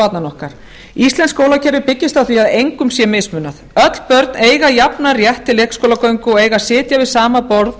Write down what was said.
barnanna okkar íslenskt skólakerfi byggist á því að engum sé mismunað öll börn eiga jafnan rétt til leikskólagöngu og eiga að sitja við sama borð